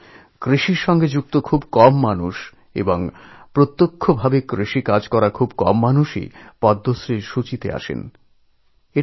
সাধারণত কৃষিক্ষেত্রের সঙ্গে যুক্ত খুব কম মানুষ এবং সরাসরি যাঁরা কৃষক তাঁদের মধ্যে খুব স্বল্পজনই পদ্মশ্রী প্রাপকদের তালিকায় আসেন